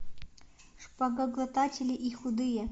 шпагоглотатели и худые